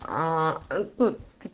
а ты